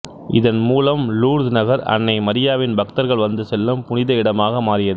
இதன் மூலம் லூர்து நகர் அன்னை மரியாவின் பக்தர்கள் வந்து செல்லும் புனித இடமாக மாறியது